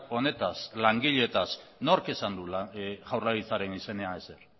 honetaz langileetaz nork esan du jaurlaritzaren izenean ezer